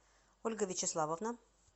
ольга вячеславовна